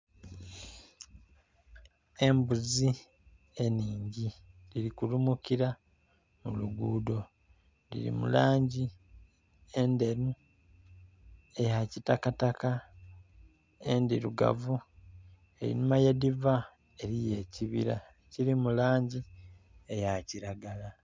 Embuzi enhingi dhiri kulumukira mu lugudho dhiri mu langi endheru, eya kitakataka, endhirugavu. Einhuma yedhiva eriyo ekibira ekili mu langi eya kiragala